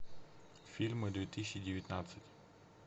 фильмы две тысячи девятнадцать